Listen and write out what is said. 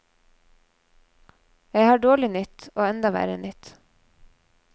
Jeg har dårlig nytt og enda verre nytt.